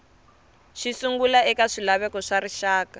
xisungla eka swilaveko swa rixaka